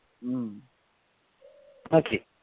উম